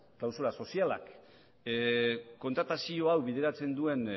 klausula sozialak kontratazio hau bideratzen duen